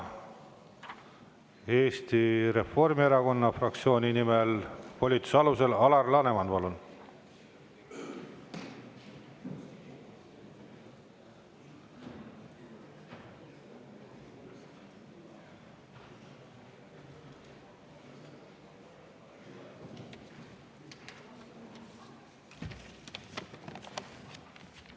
Eesti Reformierakonna fraktsiooni nimel ja volituse alusel, Alar Laneman, palun!